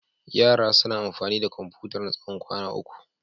Yaran suna amfani da Komfutar na tsawon kwana uku.